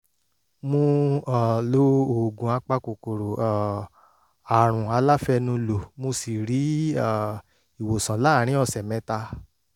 mo um lo oògùn apakòkòrò um àrùn aláfẹnulò mo sì rí um ìwòsàn láàárín ọ̀sẹ̀ mẹ́ta